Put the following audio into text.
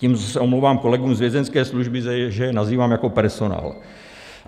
Tímto se omlouvám kolegům z vězeňské služby, že je nazývám jako personál.